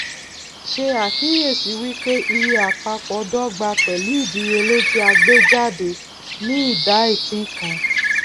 ṣe àkíyèsí wípé iye àpapọ dọgba pẹlú ìdíyelé tí a gbé jáde ní ìdá ìpín kan